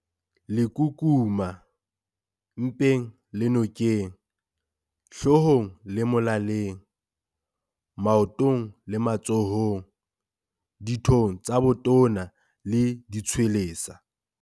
Lekukuma- Mpeng le nokeng, hloohong le molaleng, maotong le matsohong, dithong tsa botona le ditshwelesa.